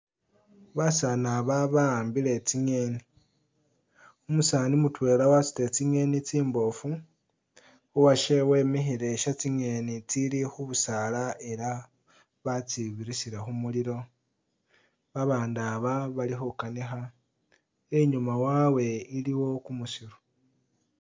Basani aba bahambile tsingeni umusani mutwela wasutile tsingeni tsimbofu uwashe wemikhile shetsingeni tsili khubusaala ela batsibirisile khumulilo babandu aba bali khukanikha inyuma wawe iliwo kumusiru.